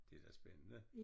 Det da spændende